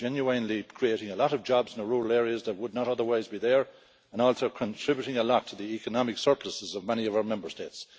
This is genuinely creating a lot of jobs in rural areas that would not otherwise be there and also contributing a lot to the economic surpluses of many of our Member States.